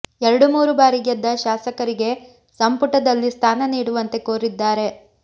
ಎರಡು ಮೂರು ಬಾರಿ ಗೆದ್ದ ಶಾಸಕರಿಗೆ ಸಂಪುಟದಲ್ಲಿ ಸ್ಥಾನ ನೀಡುವಂತೆ ಕೋರಿದ್ದಾರೆ